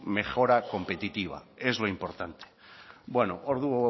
mejora competitiva es lo importante ordu